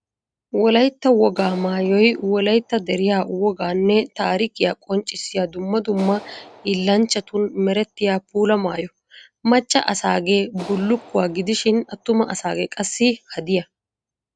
Wolaytta wogaa maayoy wolaytta deriya woganne taariikiyaa qonccissiya dumma dumma hillanchchattun merettiya puula maayo. Macca asage bullukkuwa gidishin atuma asage qassi haddiya.